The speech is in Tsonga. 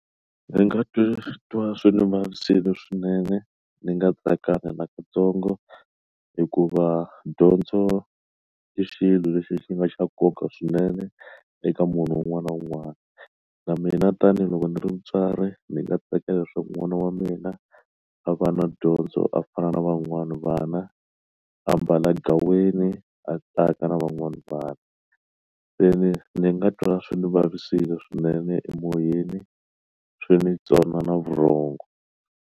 Ndzi nga titwa swi ndzi vavisekile swinene ndzi nga tsakanga nakatsongo hikuva dyondzo i xilo lexi xi nga xa nkoka swinene eka munhu un'wana na un'wana na mina tanihiloko ndzi ri mutswari ndzi nga tsakela swa ku n'wana wa mina a va na dyondzo a fana na van'wani vana ambala gaweni a tsaka na van'wana vanhu se ndzi ndzi nga twa swi ndzi vavisekile swinene emoyeni swo ndzi tsona na vurhongo.